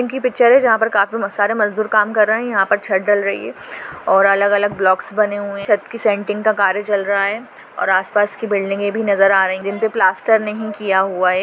इनकी पिक्चर है जहाँ पे काफी मजदूर काम कर रहे है यहाँ पर छत दल रही है और अलग अलग ब्लॉक्स बने हुए है चाट क कार्य चल रहा है और आसपास के बिल्डिंग भी नजर आ रहे है जीमने प्लास्टर नही किया है।